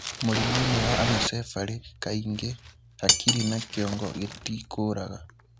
Mũrimũinĩ wa anecephaly kaingĩ hakiri na kĩongo gĩtikũraga.